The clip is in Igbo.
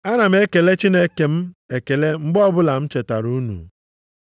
Ana m ekele Chineke m ekele mgbe ọbụla m chetara unu.